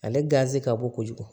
Ale ganzi ka bon kojugu